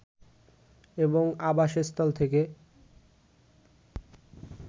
এবং আবাসস্থল থেকে